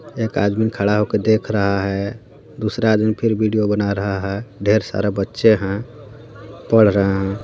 एक आदमी खड़ा होकर देख रहा है दूसरा आदमी फिर वीडियो बना रहा है ढेर सारा बच्चे हैं पढ़ रहे हैं।